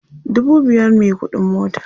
dubu biyar me ƙuɗin mota